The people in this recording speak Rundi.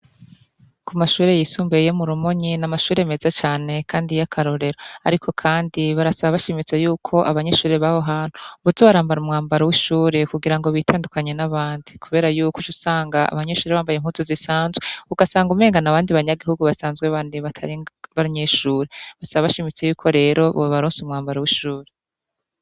Ku mashuri yisumbuye yo mu rumonyi n'amashuri meza cane kandi y'akarorero ariko kandi barasaba bashimitse yuko abanyeshuri baho hantu boza barambara umwambaro w'ishuri kugira ngo bitandukanye n'abandi kubera yuko ucusanga abanyeshuri bambaye impuzu zisanzwe ugasanga umbengano abandi banyagihugu basanzwe bandi batari abanyeshuri basaba bashimitse y'uko rero bube baronse umwambaro w'ishuri.